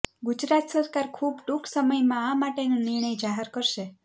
ગુજરાત સરકાર ખૂબ ટૂંક સમયમાં આ માટેનો નિર્ણય જાહેર કરશે